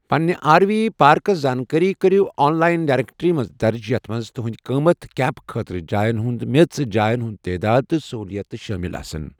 پنٛنہِ R V parks زانٛکٲری کٔرِو آن لایِن ڈایریٚکٹرٛی منٛز درٕج ، یَتھ منٛز تُہٕنٛدۍ قۭمَت، کیمپ خٲطرٕ جایَن ہُنٛد میٖژ، جایَن ہٗند تعداد، تہٕ سٔہوٗلِیاتہٕ شٲمِل آسن ،۔